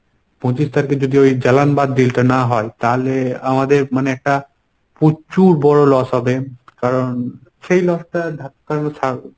পঁচিশ তারিখ যদি ওই জালানবাদ deal টা না হয় তালে আমাদের মানে একটা প্রচুর বড় loss হবে কারণ সেই loss টার ধাক্কা